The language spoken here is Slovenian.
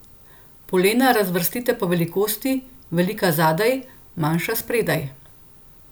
Polena razvrstite po velikosti, velika zadaj, manjša spredaj.